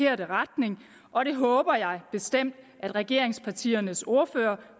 retning og det håber jeg bestemt at regeringspartiernes ordførere